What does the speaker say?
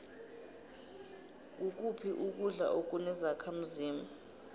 ngukuphi ukudla akune zakhdmzimba